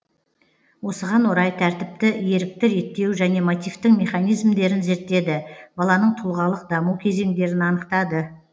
осыған орай тәртіпті ерікті реттеу және мотивтің механизмдерін зерттеді баланың тұлғалық даму кезеңдерін анықтады